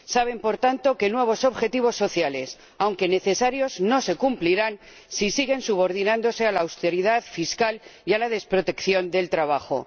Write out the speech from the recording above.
Saben, por tanto, que nuevos objetivos sociales, aunque necesarios, no se cumplirán si siguen subordinándose a la austeridad fiscal y a la desprotección del trabajo.